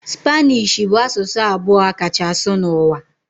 Spanishi bụ asụsụ abụọ a kacha asụ n'ụwa.